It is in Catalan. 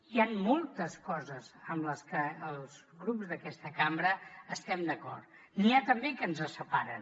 hi han moltes coses en les que els grups d’aquesta cambra estem d’acord n’hi ha també que ens separen